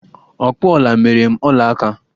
Ọkpụ ọla metere m ọla aka!